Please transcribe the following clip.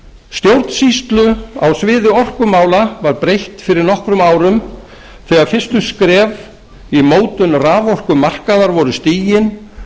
stjórnsýslu á sviði orkumála var breytt fyrir nokkrum árum þegar fyrstu skref í mótun raforkumarkaðar voru stigin